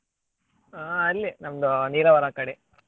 ಆ ಅಲ್ಲೇ ನಮ್ದು Nilavara ಆಕಡೆ.